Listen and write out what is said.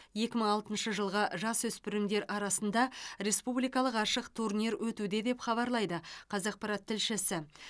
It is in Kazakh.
екі мың алтыншы жылғы жасөспірімдер арасында республикалық ашық турнир өтуде деп хабарлайды қазақпарат тілшісі